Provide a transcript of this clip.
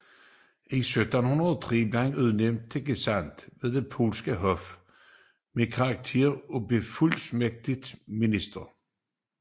I december 1703 blev han udnævnt til gesandt ved det polske hof med karakter af befuldmægtiget minister